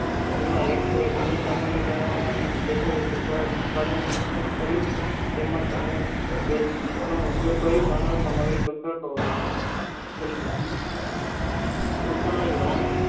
તેના એક બીજા છેડે ઉત્પાદન બીજ પણ કરે છે તેમનો સમય બે system ઉપયોગ કરી